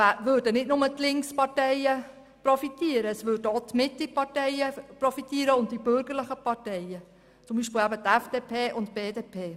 Es würden also nicht nur die Linksparteien profitieren, sondern auch die Mitteparteien und die bürgerlichen Parteien, wie beispielsweise die FDP und die BDP.